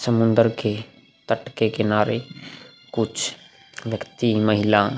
समुन्दर के तट के किनारे कुछ व्यक्ति महिला --